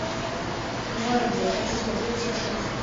гвардия хочу смотреть сейчас